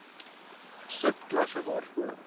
sub klasse waarvoor